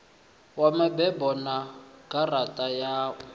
ya mabebo na garaṱa ya